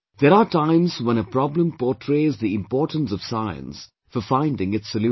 There are times when a problem portrays the importance of Science for finding its solution